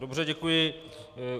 Dobře, děkuji.